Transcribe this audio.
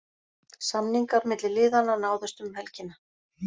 Samningar milli liðana náðust um helgina.